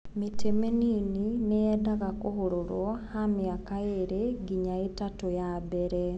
Mĩtĩ mĩnini ndĩendaga kũhũrũrwo hw miaka ĩrĩ nginya ĩtatu ya mbere.